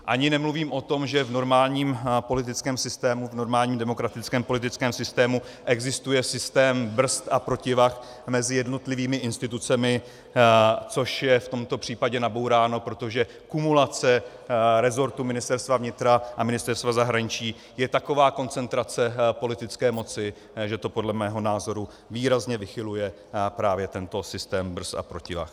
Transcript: Ani nemluvím o tom, že v normálním politickém systému, v normálním demokratickém politickém systému existuje systém brzd a protivah mezi jednotlivými institucemi, což je v tomto případě nabouráno, protože kumulace resortů Ministerstva vnitra a Ministerstva zahraničí je taková koncentrace politické moci, že to podle mého názoru výrazně vychyluje právě tento systém brzd a protivah.